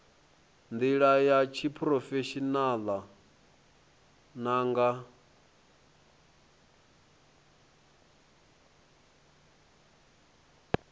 ndila ya tshiphurofeshinala na nga